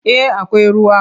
Eh akwai ruwa.